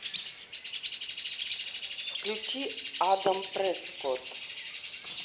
включи адам прескот